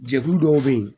Jɛkulu dɔw bɛ yen